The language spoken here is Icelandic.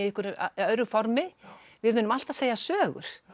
öðru formi við munum alltaf segja sögur